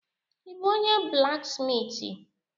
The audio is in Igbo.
Ị bụ onye blaksmitị?